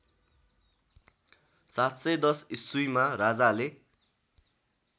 ७१० ईस्वीमा राजाले